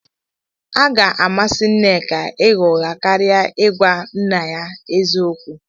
O ga-amasị Nneka ịgha ụgha karịa I gwa nne ya eziokwu.